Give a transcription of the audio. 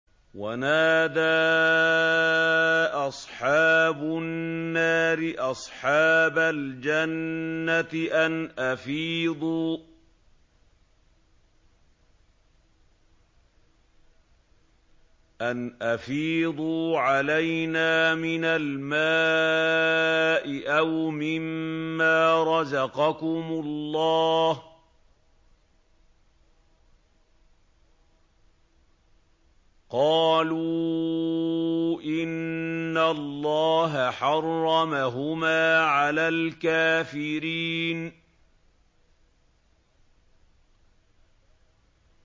وَنَادَىٰ أَصْحَابُ النَّارِ أَصْحَابَ الْجَنَّةِ أَنْ أَفِيضُوا عَلَيْنَا مِنَ الْمَاءِ أَوْ مِمَّا رَزَقَكُمُ اللَّهُ ۚ قَالُوا إِنَّ اللَّهَ حَرَّمَهُمَا عَلَى الْكَافِرِينَ